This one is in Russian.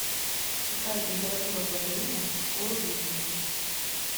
какая температура плавления у рубидий